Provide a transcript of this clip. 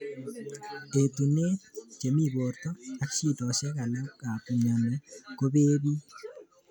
Etunet, che mi porto, ak shidoshek alak ap mioni kopee pik.